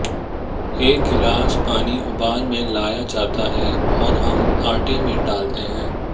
एक गिलास पानी उबाल में लाया जाता है और हम आटे में डालते हैं